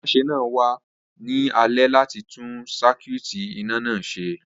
Atúnáṣe náà wa ni alẹ́ láti tun sakuiiti iná náà se